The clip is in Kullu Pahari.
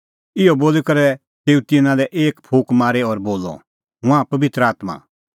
इहअ बोली करै तेऊ तिन्नां लै एक फूंक मारी और बोलअ हुंज़ा पबित्र आत्मां